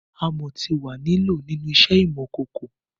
Amọ ti wà ni lọ̀ ninu iṣẹ imọ-kọkọ